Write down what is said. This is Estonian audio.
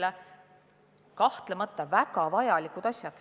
Need on kahtlemata väga vajalikud asjad.